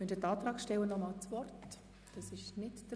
Die Antragsteller wünschen das Wort nicht mehr.